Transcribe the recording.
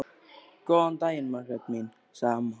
Góðan daginn, Margrét mín sagði amma.